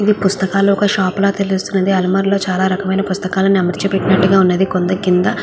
ఇది పుస్తకాలు ఒక షాప్ లా తెలుస్తుంది. అల్మరులో చాలా రకమైన పుస్తకాలను అమర్చి పెట్టినట్టుగా ఉన్నది. కొన్ని కింద --